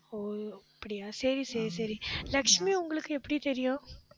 ஓ அப்படியா சரி, சரி, சரி லட்சுமி உங்களுக்கு எப்படி தெரியும்